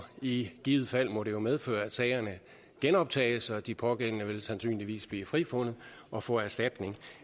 i givet fald må det jo medføre at sagerne genoptages og at de pågældende sandsynligvis vil blive frifundet og få erstatning